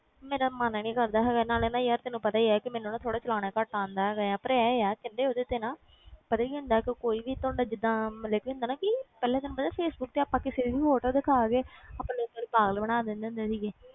ਮੇਰਾ ਮਨ ਨੀ ਕਰਦਾ ਹੈਗਾ ਨਾਲੇ ਨਾ ਯਾਰ ਤੈਨੂੰ ਪਤਾ ਹੀ ਹੈ ਕਿ ਮੈਨੂੰ ਨਾ ਥੋੜ੍ਹਾ ਚਲਾਉਣਾ ਘੱਟ ਆਉਂਦਾ ਹੈਗਾ ਆ, ਪਰ ਇਹ ਆ ਸਿੱਧੇ ਉਹਦੇ ਤੇ ਨਾ ਪਤਾ ਕੀ ਹੁੰਦਾ ਕਿ ਕੋਈ ਵੀ ਤੁਹਾਡਾ ਜਿੱਦਾਂ ਮਤਲਬ ਕੀ ਹੁੰਦਾ ਨਾ ਕਿ ਪਹਿਲਾਂ ਤੈਨੂੰ ਪਤਾ ਫੇਸਬੁੱਕ ਤੇ ਆਪਾਂ ਕਿਸੇ ਦੀ photo ਦਿਖਾ ਕੇ ਆਪਣੇ ਪਾਗਲ ਬਣਾ ਦਿੰਦੇ ਹੁੰਦੇ ਸੀਗੇ,